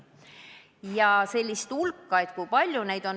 Kui palju selliseid noori on?